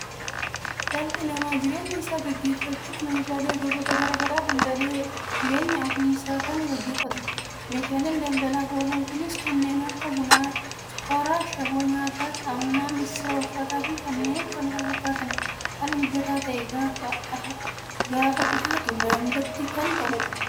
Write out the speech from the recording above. Dhalli namaa jireenya isaa gaggeeffachuuf meeshaalee gosoota garaagara daldaalee jireenya ofii isaa kan gaggeeffatudha. Meeshaaleen daldalaaf oolan kunis kanneen akka Buna, Sukkaara, Ashaboo nyaata, saamunaa, missira, uffata fi kanneen kana fakkaatanidha. haala mijataa ta'een gaafa dhihaatu maamilatti kan toludha